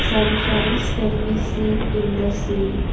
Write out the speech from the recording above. some fans can be seen in the ceiling.